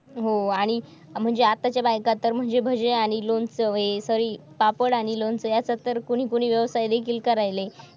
हो आणि म्हणजे आताच्या बायका तर म्हणजे भजी आणि लोणचं sorry पापड आणि लोणचं यासारख्या कोणी कोणी व्यवसाय देखील करावे